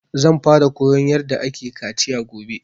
Zan fara koyan yarda ake kaciya gobe